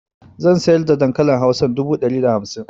Zan saida dankalin hausar dubu dari da hamsin